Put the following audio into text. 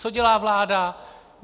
Co dělá vláda?